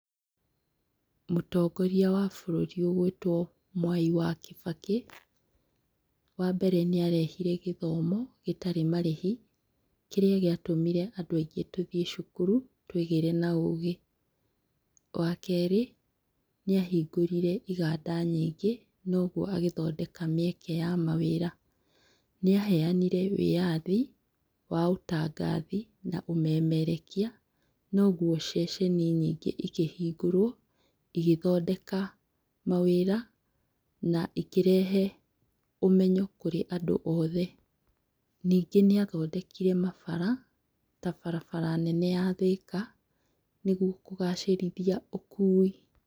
Mũtongoria wa bũrũri ũgũĩtwo Mwai wa Kibaki. Wa mbere nĩarehire gĩthomo gĩtarĩ marĩhi kĩria gĩatũmire andũ aingĩ tuthiĩ cukuru twĩgĩre na ũgĩ. Wa kerĩ nĩahingũrire iganda nyingĩ noguo agĩthondeka mĩeke ya mawĩra. Nĩ aheyanire wĩathi wa ũtangathi na ũmemerekia noguo ceceni nyingĩ ikĩhingũrwo igĩthondeka mawĩra na ĩkĩrehe ũmenyo kũrĩ andũ othe, ningĩ nĩathondekire mabara ta barabara nene ya Thika nĩguo kũgacĩrithia ũkui.